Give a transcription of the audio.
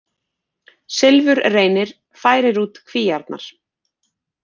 Silfurreynir færir út kvíarnar